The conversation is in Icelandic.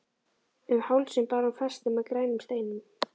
Um hálsinn bar hún festi með grænum steinum.